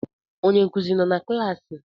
Onye nkuzi nọ na klaasị?